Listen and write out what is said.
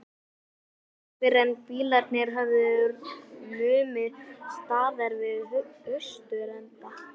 Það var ekki fyrren bílarnir höfðu numið staðar við austurenda